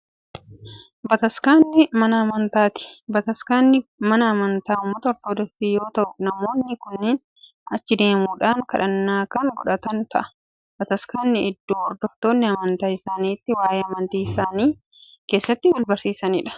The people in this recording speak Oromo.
Bataskaanni mana amantaati. Bataskaanni mana amantaa uummata ortoodoksii yoo ya'u namoonni kunniin achi deemuudhaan kadhannaa kan kadhatan ta'a. Bataskaanni iddoo hordoftoonni amantaa isaanii itti wa'ee amantii isaanii keesaatti wal barsiisaniidha.